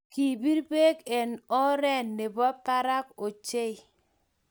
Kipir beek eng oree ne bo barak ochei.